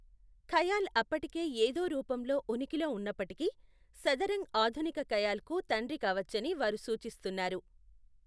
ఖయాల్ అప్పటికే ఏదో రూపంలో ఉనికిలో ఉన్నప్పటికీ, సదరంగ్ ఆధునిక ఖయాల్కు తండ్రి కావచ్చని వారు సూచిస్తున్నారు.